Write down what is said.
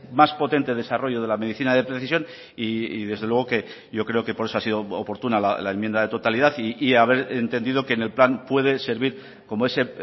más potente desarrollo de la medicina de precisión y desde luego yo creo que por eso ha sido oportuna la enmienda de totalidad y haber entendido que en el plan puede servir como ese